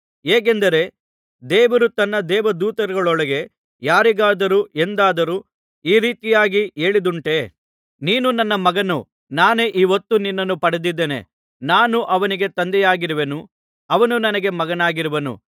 ಹೇಗೆಂದರೆ ದೇವರು ತನ್ನ ದೇವದೂತರೊಳಗೆ ಯಾರಿಗಾದರೂ ಎಂದಾದರೂ ಈ ರೀತಿಯಾಗಿ ಹೇಳಿದ್ದುಂಟೋ ನೀನು ನನ್ನ ಮಗನು ನಾನೇ ಈ ಹೊತ್ತು ನಿನ್ನನ್ನು ಪಡೆದಿದ್ದೇನೆ ನಾನು ಅವನಿಗೆ ತಂದೆಯಾಗಿರುವೆನು ಅವನು ನನಗೆ ಮಗನಾಗಿರುವನು